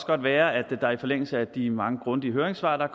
kan være at jeg i forlængelse af de mange grundige høringssvar der